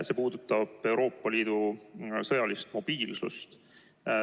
See puudutab Euroopa Liidu sõjalist mobiilsust.